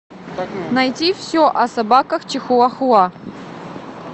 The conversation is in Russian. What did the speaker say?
найти все о собаках чихуа хуа